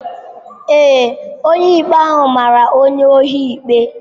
Ee, onye ikpe mara onye ohi ikpe.